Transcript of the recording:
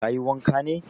Ka yi wanka ne?